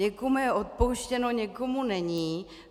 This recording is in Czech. Někomu je odpouštěno, někomu není.